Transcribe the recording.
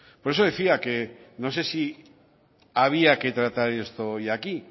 por eso decía que no se si había que tratar esto hoy aquí